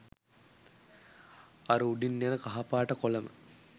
අර උඩින් යන කහ පාට කොලම